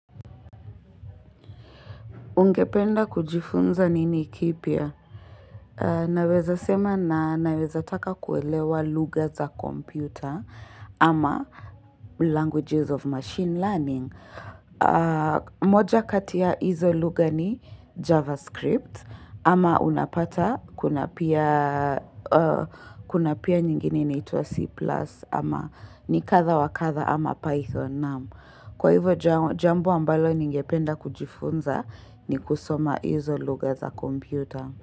Ungependa kujifunza nini kipya? Naweza sema na naweza taka kuelewa lugha za kompyuta ama languages of machine learning. Moja kati ya hizo lugha ni javascript ama unapata kuna pia kuna pia nyingine inaitwa C plus ama ni kadha wa kadha ama python naam Kwa hivo jambo ambalo ningependa kujifunza ni kusoma hizo lugha za kompyuta.